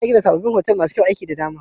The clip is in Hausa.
Za'a gina sabobbin otal masu kayan aiki da dama.